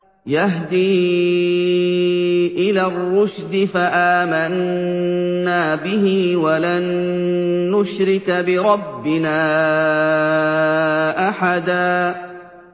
يَهْدِي إِلَى الرُّشْدِ فَآمَنَّا بِهِ ۖ وَلَن نُّشْرِكَ بِرَبِّنَا أَحَدًا